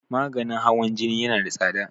maganin hawan Jini yana da tsada